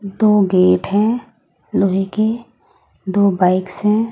दो गेट हैं लोहे के दो बाइक्स हैं।